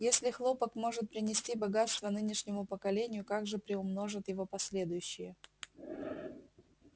если хлопок может принести богатство нынешнему поколению как же приумножат его последующие